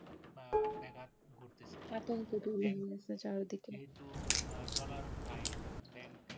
Dollar নাই Bank এর